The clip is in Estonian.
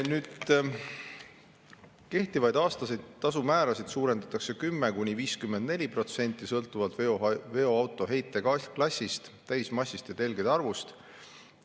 Kehtivaid aastaseid tasumäärasid suurendatakse 10–54%, sõltuvalt veoauto heiteklassist, täismassist ja telgede arvust.